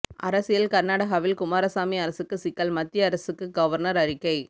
அரசியல் கர்நாடகாவில் குமாரசாமி அரசுக்கு சிக்கல் மத்திய அரசுக்கு கவர்னர் அறிக்கை